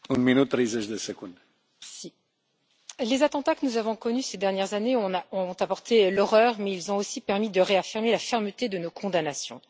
Monsieur le Président, les attentats que nous avons connus ces dernières années ont apporté l'horreur, mais ils ont aussi permis de réaffirmer la fermeté de nos condamnations.